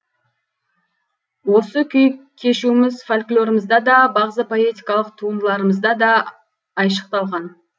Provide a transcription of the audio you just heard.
осы күй кешуіміз фольклорымызда да бағзы поэтикалық туындыларымызда да айшықталған